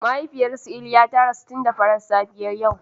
Mahaifiyar su Iliya ta rasu tun da farar safiyar yau.